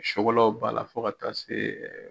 b'a la fo ka taa se